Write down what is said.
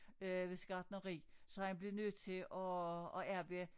Øh ved sit gartneri så han blev nødt til at at arbejde